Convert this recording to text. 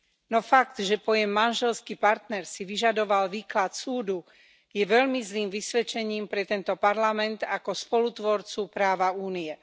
No fakt, že pojem manželský partner si vyžadoval výklad súdu, je veľmi zlým vysvedčením pre tento parlament ako spolutvorcu práva Únie.